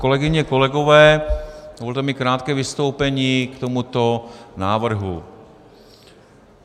Kolegyně, kolegové, dovolte mi krátké vystoupení k tomuto návrhu.